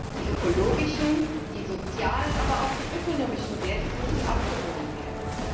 Die ökologischen, die sozialen, aber auch die ökonomischen Werte müssen abgewogen werden.